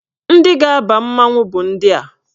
Ndị ga-aba mmanwụ bụ ndị a.